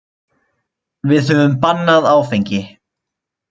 Við höfum bannað áfengi.